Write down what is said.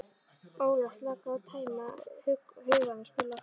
Óla, slaka á, tæma hugann og spila af gleði.